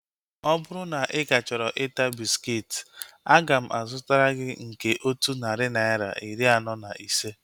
Ọ bụrụ na ị ka chọrọ ịta bịskit, aga m azụtara gị nke otu narị naira, iri anọ na ise